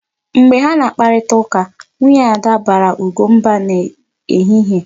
Mgbe ha kparịtara ụka, nwunye Ada baara Ugo mba n'ehihie.